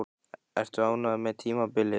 Ertu ánægður með tímabilið?